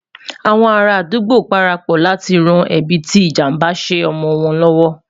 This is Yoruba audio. àwọn ará adugbo parapò láti ràn ẹbi tí ìjàmbá ṣé omọ wọn l'ọwọ